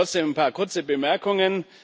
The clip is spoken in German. Trotzdem ein paar kurze Bemerkungen.